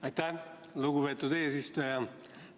Aitäh, lugupeetud eesistuja!